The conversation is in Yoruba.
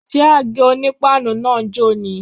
Ṣé àgé-onípáànù náà ń jò ni?